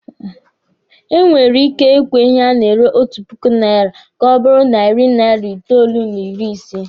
E nwere ike ị gwe ihe a na-ere otu puku naira ka ọ bụrụ narị naira itoolu n'ịrị ise